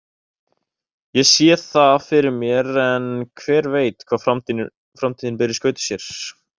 Ég sé það fyrir mér en hver veit hvað framtíðin ber í skauti sér.